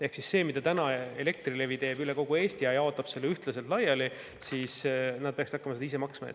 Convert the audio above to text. Ehk siis selle eest, mida Elektrilevi praegu teeb üle kogu Eesti – ta jaotab selle ühtlaselt laiali –, peaksid nad hakkama ise maksma.